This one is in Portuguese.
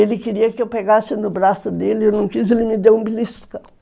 Ele queria que eu pegasse no braço dele, eu não quis, ele me deu um beliscão.